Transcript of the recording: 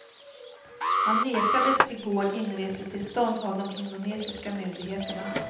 Han nekades i går inresetillstånd av de indonesiska myndigheterna.